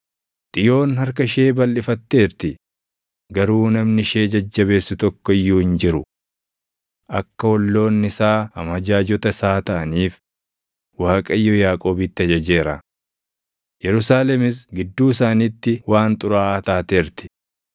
Xiyoon harka ishee balʼifatteerti; garuu namni ishee jajjabeessu tokko iyyuu hin jiru. Akka olloonni isaa amajaajota isaa taʼaniif Waaqayyo Yaaqoobitti ajajeera; Yerusaalemis gidduu isaaniitti waan xuraaʼaa taateerti.